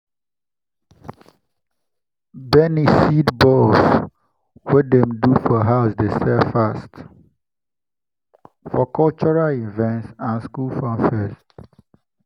beniseed balls wey dem do for house dey sell fast for cultural events and school funfairs.